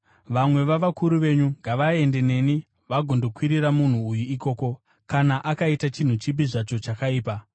Vamwe vavakuru venyu ngavaende neni vagondokwirira munhu uyu ikoko, kana akaita chinhu chipi zvacho chakaipa.”